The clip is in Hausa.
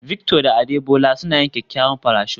Victor da Adebola suna yin kyakkyawan parachute